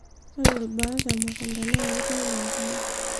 ore ilbaat temukunta naa keitayu enkare